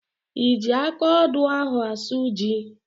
I ji akaodo ahụ asụ ji?